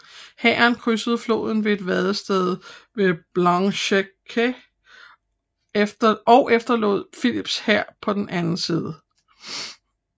Hæren krydsede floden ved et vadested ved Blanchetaque og efterlod Philips hær på den anden side